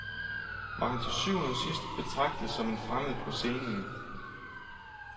Var han til syvende og sidst betragtet som en fremmed på scenen?